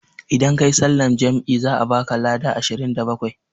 Idan kayi sallan jam'i za a baka lada ashirin da bakwai